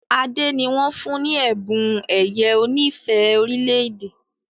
Ade ní wón fún ní Ẹ̀bùn ẹ̀yẹ onífẹ̀ẹ́ orílẹ̀-èdè